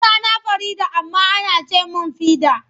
Sunana Farida amma ana ce min Fidi.